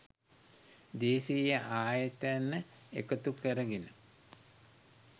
දේශීය ආයතන එකතු කරගෙන